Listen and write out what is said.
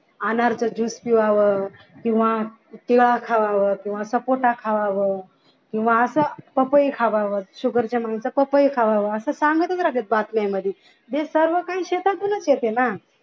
अनारचा juice पिवावं किंवा खावावं किंवा सपोटा खावावं किंवा असं पपई खावावं sugar ची माणसं असे सांगतच राहतात बातम्यांमध्ये जे सर्व काही शेतामधूनच येते ना